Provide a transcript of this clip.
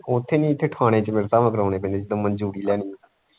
ਉੱਥੇ ਨਹੀਂ ਇੱਥੇ ਥਾਣੇ ਚ ਮੇਰੇ ਹਿਸਾਬ ਕਰਾਉਣੀ ਪੈਣੀ ਜਿੱਥੋਂ ਮਨਜੂਰੀ ਲੈਣੀ ਹੈ।